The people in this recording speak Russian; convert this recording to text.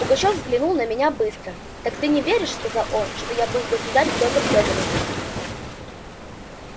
пугачёв взглянул на меня быстро так ты не веришь сказал он что я был государь пётр фёдорович